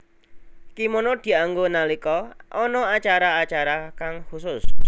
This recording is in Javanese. Kimono dianggo nalika ana acara acara kang khusus